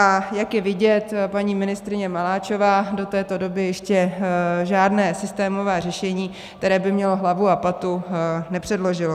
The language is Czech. A jak je vidět, paní ministryně Maláčová do této doby ještě žádné systémové řešení, které by mělo hlavu a patu, nepředložila.